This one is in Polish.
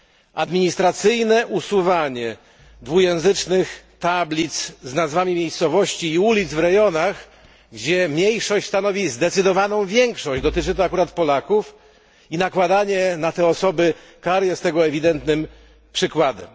Administracyjne usuwanie dwujęzycznych tablic z nazwami miejscowości i ulic w rejonach, gdzie mniejszość stanowi zdecydowaną większość, dotyczy to akurat Polaków, i nakładanie na te osoby kar jest tego ewidentnym przykładem.